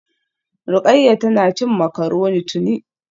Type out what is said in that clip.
Rukayya tana cin macaroni tuni